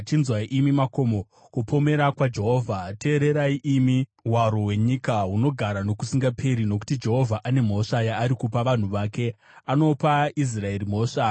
Chinzwai imi makomo, kupomera kwaJehovha; teererai, imi hwaro hwenyika hunogara nokusingaperi. Nokuti Jehovha ane mhosva yaari kupa vanhu vake; anopa Israeri mhosva.